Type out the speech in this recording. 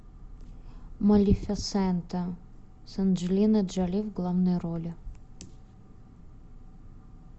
малефисента с анджелиной джоли в главной роли